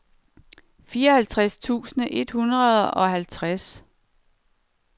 fireoghalvtreds tusind et hundrede og halvtreds